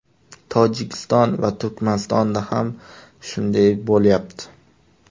Tojikiston va Turkmanistonda ham shunday bo‘lyapti”.